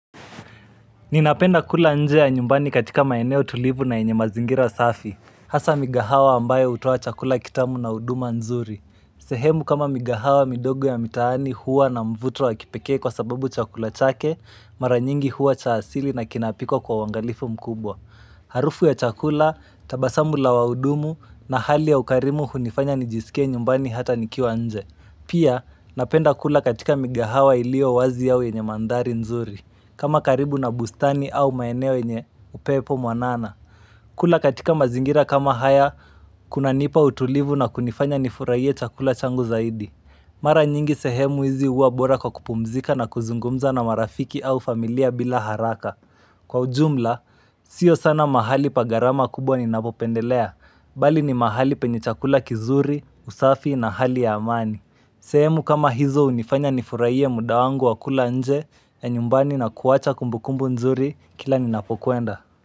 Ninapenda kula nje ya nyumbani katika maeneo tulivu na yenye mazingira safi Hasa migahawa ambayo hutoa chakula kitamu na uduma nzuri sehemu kama migahawa midogo ya mitaani huwa na mvuto wa kipekee kwa sababu chakula chake Mara nyingi huwa cha asili na kinapikwa kwa uangalifu mkubwa Harufu ya chakula, tabasamu la waudumu na hali ya ukarimu hunifanya nijiskie nyumbani hata nikiwa nje Pia napenda kula katika migahawa ilio wazi au yenye manthari nzuri kama karibu na bustani au maeneo yenye upepo mwanana kula katika mazingira kama haya kunanipa utulivu na kunifanya nifurahie chakula changu zaidi Mara nyingi sehemu hizi huwa bora kwa kupumzika na kuzungumza na marafiki au familia bila haraka Kwa ujumla, sio sana mahali pa gharama kubwa ninavyopendelea Bali ni mahali penye chakula kizuri, kusafi na hali ya amani sehemu kama hizo hunifanya nifurahie muda wangu wa kula nje ya nyumbani na kuacha kumbukumbu nzuri kila ninapokwenda.